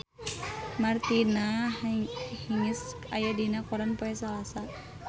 Martina Hingis aya dina koran poe Salasa